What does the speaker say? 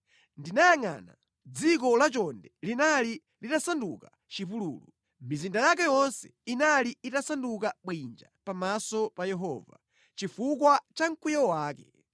Ndinayangʼana, dziko lachonde linali litasanduka chipululu; mizinda yake yonse inali itasanduka bwinja pamaso pa Yehova, chifukwa cha mkwiyo wake.